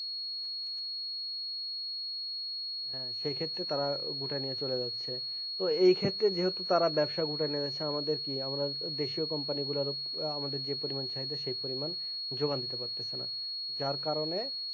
হ্যাঁ সে ক্ষেত্রে তারা গুটাইনিয়া চলে যাচ্ছে তো এই ক্ষেত্রে যেহেতু তারা ব্যবসা গুটাই নিয়েছে আমাদের কি আমরাও দেশও company গুলারও আমাদের যে পরিমান চাহিদা সেই পরিমান যোগান দিতে পারতেছেনা যার কারণে